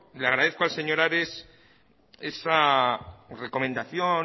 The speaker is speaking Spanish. le agradezco al señor ares esa recomendación